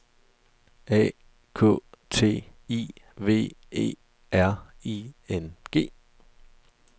A K T I V E R I N G